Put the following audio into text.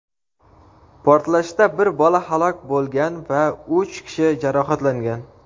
portlashda bir bola halok bo‘lgan va uch kishi jarohatlangan.